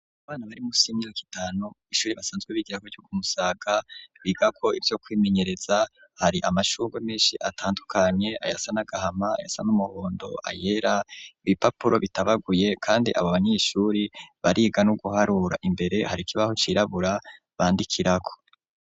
Abana bari munsi yimyaka itanu ishuri basanzwe bigirako ryo ku musaga bigako ivyo kwimenyereza hari amashugwe menshi atandukanye ayasa n'agahama ayasa n'umuhondo ayera ibipapuro bitabaguye kandi abo banyeshuri bariga no guharura imbere hari ikibaho cirabura bandikirako.